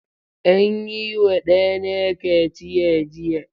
An yi wa ɗana kaciya jiya.